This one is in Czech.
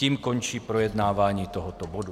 Tím končí projednávání tohoto bodu.